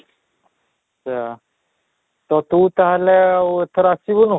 ସେଇୟା ତ ତୁ ତାହେଲେ ଆଉ ଏଥର ଆସିବୁନୁ?